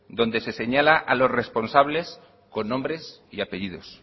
donde se señala a los responsables con nombres y apellidos